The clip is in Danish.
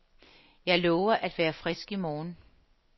Jeg lover at være frisk i morgen.